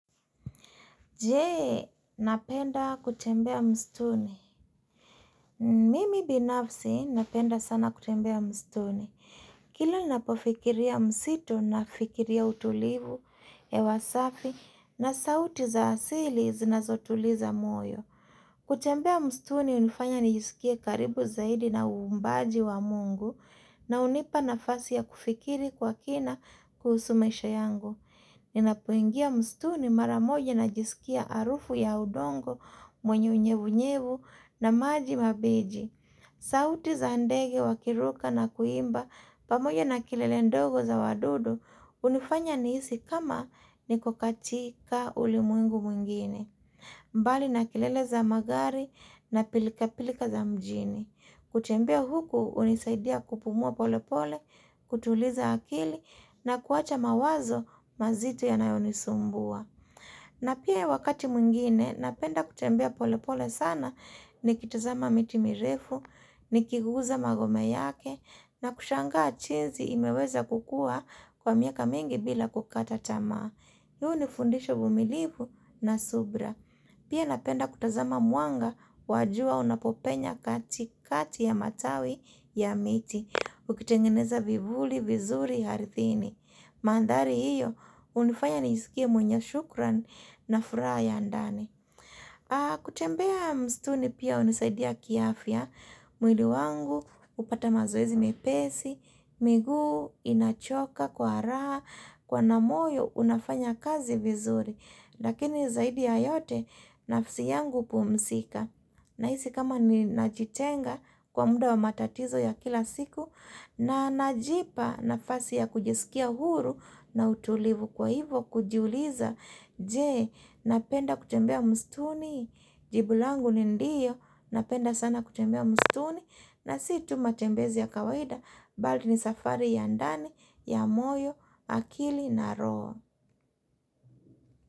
Jee, unapenda kutembea msituni? Mimi binafsi, napenda sana kutembea msituni. Kila napofikiria msitu, nafikiria utulivu, hewa safi, na sauti za asili, zinazotuliza moyo. Kutembea msituni hunifanya nijisikie karibu zaidi na uumbaji wa Mungu, na hunipa nafasi ya kufikiri kwa kina kuhusu maisha yangu. Ninapuingia msituni mara moja najisikia harufu ya udongo, mwenye unyevunyevu na maji mabeji. Sauti za ndege wakiruka na kuimba pamoja na kelele ndogo za wadudu hunifanya nihisi kama niko katika ulimwengu mwingine. Mbali na kelele za magari na pilkapilka za mjini. Kutembea huku hunisaidia kupumua pole pole, kutuliza akili na kuwacha mawazo mazito yanayonisumbua. Na pia wakati mwingine napenda kutembea pole pole sana nikitazama miti mirefu, nikiguza magome yake, na kushangaa jinsi imeweza kukua kwa miaka mingi bila kukata tamaa. Hii hunifundisha uvumilivu na subira. Pia napenda kutazama mwanga wa jua unapopenya kati kati ya matawi ya miti. Ukitengeneza vivuli vizuri aridhini. Mandhari hiyo hunifanya njisikie mwenye shukran na furaha ya ndani. Kutembea msituni pia hunisaidia kiafya mwili wangu hupata mazoezi mepesi miguu inachoka kwa raha kuona moyo unafanya kazi vizuri. Lakini zaidi ya yote nafsi yangu hupumzika Nahisi kama ninajitenga kwa muda wa matatizo ya kila siku na najipa nafasi ya kujisikia huru na utulivu. Kwa hivo kujuliza, je, napenda kutembea msituni? Jibu langu ni ndiyo, napenda sana kutembea msituni. Na si tu matembezi ya kawaida, bali ni safari ya ndani, ya moyo, akili na roho.